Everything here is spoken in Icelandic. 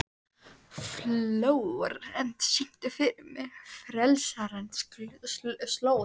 Flórent, syngdu fyrir mig „Frelsarans slóð“.